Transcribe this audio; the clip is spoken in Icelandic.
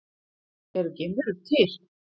Eru geimverur til?